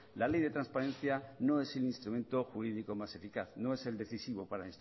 la ley de transparencia no es el instrumento jurídico más eficaz no es el decisivo para